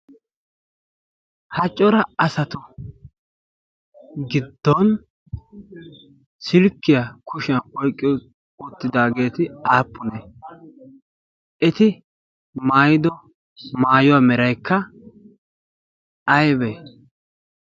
ha cora asatu giddon silkkiyaa kushiyan oiqqiyo oottidaageeti aappune? eti maaido maayuwaa meraikka aibe?